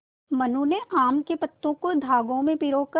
मनु ने आम के पत्तों को धागे में पिरो कर